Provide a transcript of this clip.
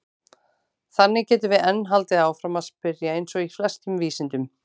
Þannig getum við enn haldið áfram að spyrja eins og í flestum vísindum!